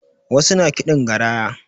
Wasu na kiɗin garaya